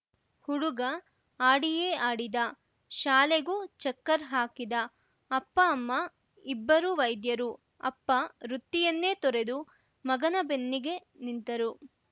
ಹುಡುಗ ಆಡಿಯೇ ಆಡಿದ ಶಾಲೆಗೂ ಚಕ್ಕರ್‌ ಹಾಕಿದ ಅಪ್ಪಅಮ್ಮ ಇಬ್ಬರೂ ವೈದ್ಯರು ಅಪ್ಪ ವೃತ್ತಿಯನ್ನೇ ತೊರೆದು ಮಗನ ಬೆನ್ನಿಗೆ ನಿಂತರು